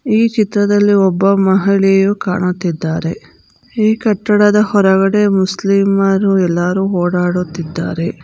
ಈ ಚಿತ್ರದಲ್ಲಿ ಒಬ್ಬ ಮಹಿಳೆಯು ಕಾಣುತ್ತಿದ್ದಾರೆ ಈ ಕಟ್ಟಡದ ಹೊರಗಡೆ ಮುಸ್ಲಿಮರು ಎಲ್ಲರೂ ಓಡಾಡುತ್ತಿದ್ದಾರೆ.